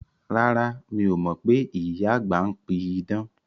Rárá, mi o mọ pé ìyá àgbà ń pí idán